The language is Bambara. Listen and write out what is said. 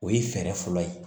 O ye fɛɛrɛ fɔlɔ ye